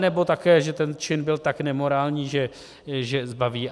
Anebo také, že ten čin byl tak nemorální, že zbaví.